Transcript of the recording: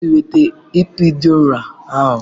Nọọsụ weta epiidura ahụ!